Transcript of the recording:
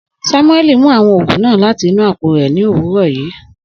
Samueli mu awọn oogun naa lati inu apo rẹ ni owurọ yii.